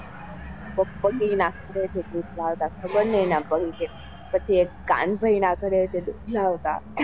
પછી એક કાન ભાઈ નાં ઘરે થી દૂધ લાવતા.